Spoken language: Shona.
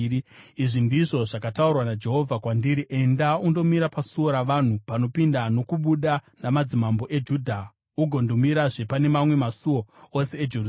Izvi ndizvo zvakataurwa naJehovha kwandiri: “Enda undomira pasuo ravanhu, panopinda nokubuda namadzimambo eJudha; ugondomirazve pane mamwe masuo ose eJerusarema.